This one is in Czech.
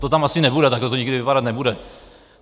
To tam asi nebude, tak to nikdy vypadat nebude.